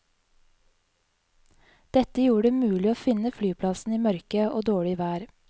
Dette gjorde det mulig å finne flyplassen i mørke og dårlig vær.